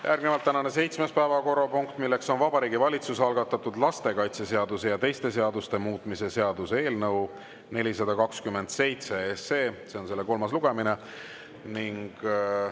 Tänane seitsmes päevakorrapunkt on Vabariigi Valitsuse algatatud lastekaitseseaduse ja teiste seaduste muutmise seaduse eelnõu 427 kolmas lugemine.